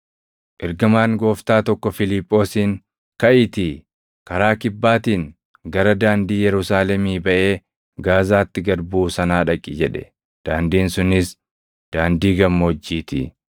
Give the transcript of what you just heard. Ergamaan Gooftaa tokko Fiiliphoosiin, “Kaʼiitii karaa Kibbaatiin gara daandii Yerusaalemii baʼee Gaazaatti gad buʼu sanaa dhaqi” jedhe; daandiin sunis daandii gammoojjii ti.